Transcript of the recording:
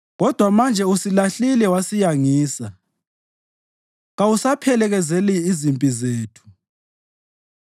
Kodwa manje ususilahlile wasiyangisa; kawusaphelekezeli izimpi zethu.